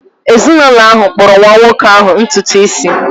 Ezinụlọ ahụ kpụrụ nwa nwoke ahụ ntutu isi